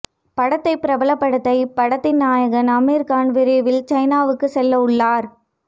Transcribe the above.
படத்தை பிரபலப் படுத்த இப்படத்தின் நாயகன் அமீர்கான் விரைவில் சைனாவுக்கு செல்ல உள்ளார்